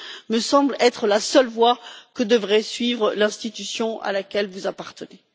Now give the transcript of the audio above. me semble être la seule voie que devrait suivre l'institution à laquelle vous appartenez.